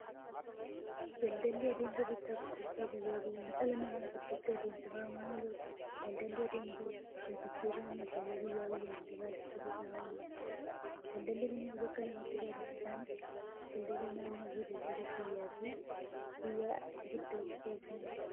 Daldalli adeemsa bittaaf gurgurtaa guyyaa guyyaan dhala namaa gidduutti adeemsifamaa ooludha. Daldalli adeemsa waljijjiirraa meeshaalee guyyaa guyyaan gabaa keessatti ta'aa ooludha. Daldalli Kunis bakka lamatti qoodama. Isaanis; daldala naannoofi daldala biyyaaf biyya gidduutti taasifamuudha.